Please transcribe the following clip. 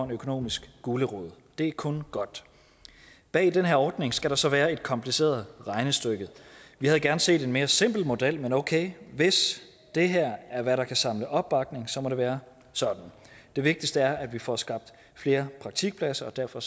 økonomisk gulerod det er kun godt bag den her ordning skal der så være et kompliceret regnestykke vi havde gerne set en mere simpel model men okay hvis det her er hvad der kan samle opbakning så må det være sådan det vigtigste er at vi får skabt flere praktikpladser og derfor